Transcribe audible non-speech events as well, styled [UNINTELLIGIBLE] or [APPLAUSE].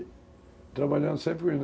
E trabalhando sempre [UNINTELLIGIBLE]